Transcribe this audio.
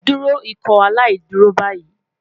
Duro Ikọaláìdúró bayi